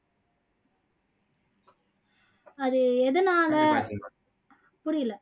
அது எதனால புரியல